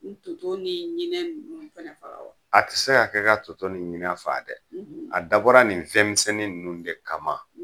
Bi tutow ni ɲinɛn ninnu fɛnɛ faga wa a ti se ka kɛ ka toto ni ɲinɛn faga dɛ a dabɔra nin fɛnmisɛnni ninnu de kama